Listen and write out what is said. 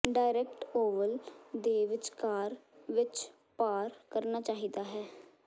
direct oval ਦੇ ਵਿੱਚਕਾਰ ਵਿੱਚ ਪਾਰ ਕਰਨਾ ਚਾਹੀਦਾ ਹੈ